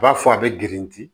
U b'a fɔ a bɛ girinti